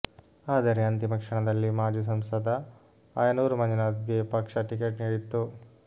ಆದರೆ ಅಂತಿಮ ಕ್ಷಣದಲ್ಲಿ ಮಾಜಿ ಸಂಸದ ಆಯನೂರು ಮಂಜುನಾಥ್ಗೆ ಪಕ್ಷ ಟಿಕೆಟ್ ನೀಡಿತ್ತು